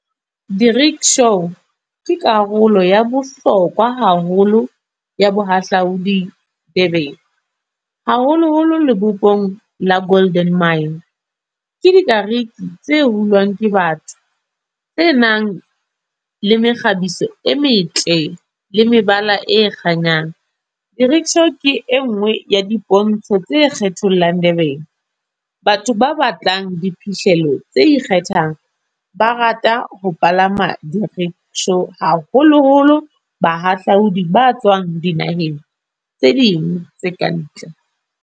Di-rickshaw, ke karolo ya bohlokwa haholo ya bohahlaudi Durban. Haholo holo lebopong la Golden Mine. Ke di kariki, tse hulwang ke batho, tse nang le mekgabiso e metle le mebala e kganyang. Di-rickshaw ke e nngwe ya dipontsho tse kgethollang Durban. Batho ba batlang diphihlello tse ikgethang. Ba rata ho palama di-rickshaw, haholo holo bahahlaodi ba tswang dinaheng tse ding tse ka ntle.